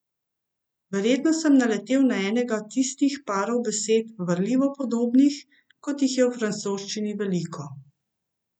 Verjetno sem naletel na enega tistih parov besed, varljivo podobnih, kot jih je v francoščini veliko.